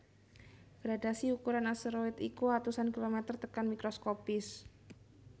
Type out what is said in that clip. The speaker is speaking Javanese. Gradhasi ukuran asteroid iku atusan kilomèter tekan mikroskopis